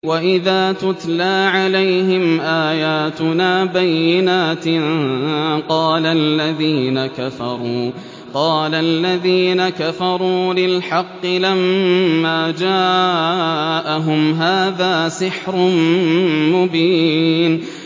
وَإِذَا تُتْلَىٰ عَلَيْهِمْ آيَاتُنَا بَيِّنَاتٍ قَالَ الَّذِينَ كَفَرُوا لِلْحَقِّ لَمَّا جَاءَهُمْ هَٰذَا سِحْرٌ مُّبِينٌ